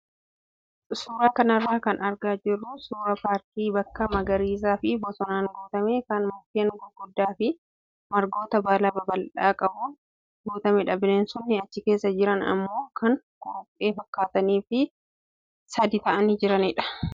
Suuraa kanarraa kan argaa jirru suuraa paarkii bakka magariisaa fi bosonaan guutame kan mukkeen gurguddaa fi margoota baala babal'aa qabuun guutamedha. Bineensonni achi keessa jiran immoo kan kuruphee fakkaatanii fi sadii ta'anii jiranidha.